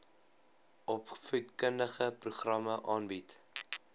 opvoedkundige programme aanbied